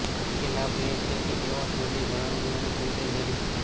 મુખ્ય લાભ એ છે કે તેઓ થોડી જાળવણી અને સિંચાઈ જરૂર છે